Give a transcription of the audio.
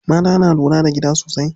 Mata na lura da gida sosai.